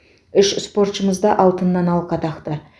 үш спортшымыз да алтыннан алқа тақты